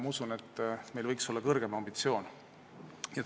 Ma usun, et meil võiks olla kõrgem ambitsioon.